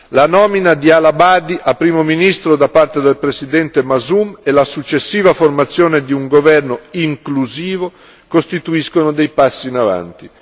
La nomina di Al Abadi a primo ministro da parte del presidente Masum e la successiva formazione di un governo inclusivo costituiscono dei passi in avanti.